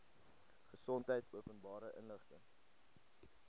gesondheid openbare inligting